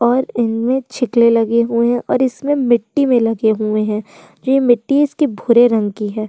और इनमे लगे हुए हैं और इसमे मिट्टी मे लगे हुए हैं जो मिट्टी इसकी भूरे रंग की है।